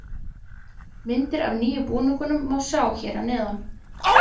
Myndir af nýja búningnum má sjá hér að neðan.